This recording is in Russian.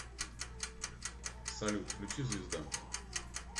салют включи звезда